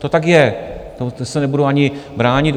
To tak je, to se nebudu ani bránit.